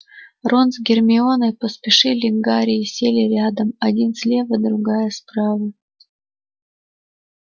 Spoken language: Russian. рон с гермионой поспешили к гарри и сели рядом один слева другая справа